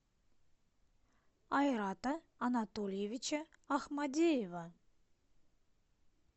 айрата анатольевича ахмадеева